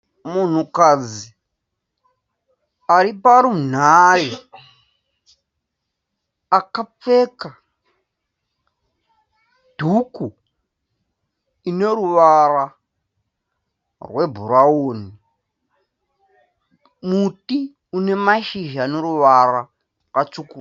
Munhukadzi ari parunhare akapfeka dhuku ine ruvara rwebhurawuni. Muti une mashizha ane ruvara rwakatsvukuruka.